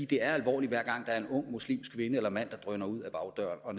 det er alvorligt hver gang der er en ung muslimsk kvinde eller mand der drøner ud ad bagdøren og